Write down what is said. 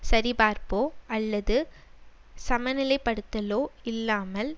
சரிபார்ப்போ அல்லது சமநிலைப்படுத்தலோ இல்லாமல்